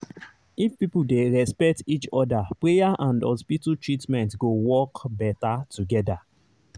if people dey respect each other prayer and hospital treatment go work better together